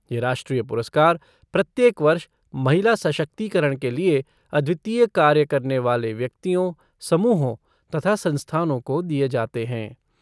ये राष्ट्रीय पुरस्कार प्रत्येक वर्ष महिला सशक्तिकरण के लिए अद्वितीय कार्य करने वाले व्यक्तियों, समूहों तथा संस्थानों को दिए जाते हैं।